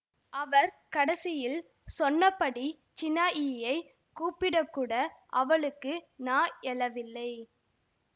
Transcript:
அவர் கடைசியில் சொன்னபடி சின்னாயியைக் கூப்பிடக்கூட அவளுக்கு நா எழவில்லை